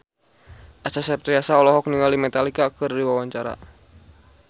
Acha Septriasa olohok ningali Metallica keur diwawancara